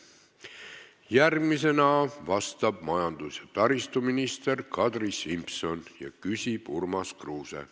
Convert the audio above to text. Järgmisena vastab majandus- ja taristuminister Kadri Simson, küsib Urmas Kruuse.